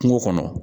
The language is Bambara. Kungo kɔnɔ